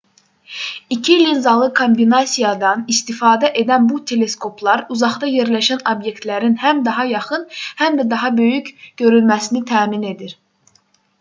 i̇ki linzalı kombinasiyadan istifadə edən bu teleskoplar uzaqda yerləşən obyektlərin həm daha yaxın həm də daha böyük görünməsini təmin edir